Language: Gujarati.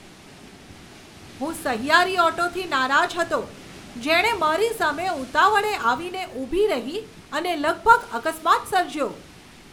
હું સહિયારી ઓટોથી નારાજ હતો જેણે મારી સામે ઉતાવળે આવીને ઊભી રહી અને લગભગ અકસ્માત સર્જ્યો.